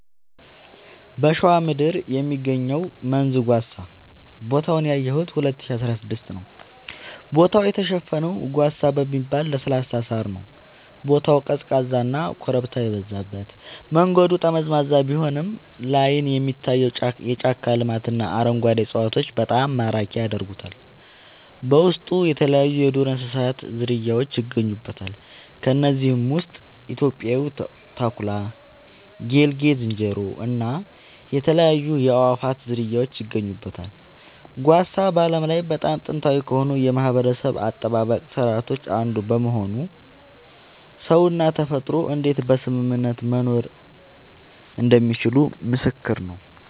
በሸዋ ምድር የሚገኘው መንዝ ጓሳ ቦታውን ያየሁት 2016 ነዉ ቦታው የተሸፈነው ጓሳ በሚባል ለስላሳ ሳር ነዉ ቦታው ቀዝቃዛና ኮረብታ የበዛበት መንገዱ ጠመዝማዛ ቢሆንም ላይን የሚታየው የጫካ ልማትና አረንጓዴ እፅዋቶች በጣም ማራኪ ያደርጉታል በውስጡ የተለያይዩ የዱር እንስሳት ዝርያውች ይገኙበታል ከነዚህም ውስጥ ኢትዮጵያዊው ተኩላ ጌልጌ ዝንጀሮ እና የተለያዩ የአእዋፋት ዝርያወች ይገኙበታል። ጓሳ በዓለም ላይ በጣም ጥንታዊ ከሆኑ የማህበረሰብ አጠባበቅ ስርዓቶች አንዱ በመሆኑ ሰውና ተፈጥሮ እንዴት በስምምነት መኖር እንደሚችሉ ምስክር ነዉ